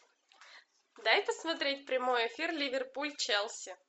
дай посмотреть прямой эфир ливерпуль челси